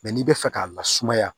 Mɛ n'i bɛ fɛ k'a lasumaya